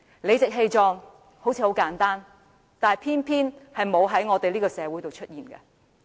理直氣壯看似簡單，但偏偏沒有在這個社會上出現。